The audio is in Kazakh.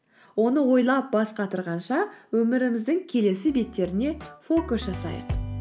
оны ойлап бас қатырғанша өміріміздің келесі беттеріне фокус жасайық